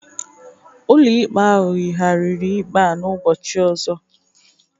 Ụlọikpe ahụ yigharịrị ikpe a n'ụbọchị ọzọ.